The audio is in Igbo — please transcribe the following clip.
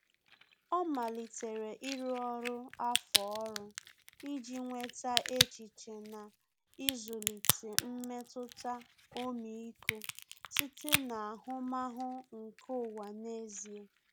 Ọ́ malitere ịrụ ọrụ afọọrụ iji nweta echiche na ịzụlite mmetụta ọmịiko site n’ahụmahụ nke ụwa n’ezie.